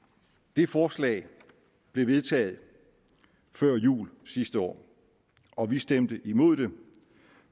det forslag blev vedtaget før jul sidste år og vi stemte imod det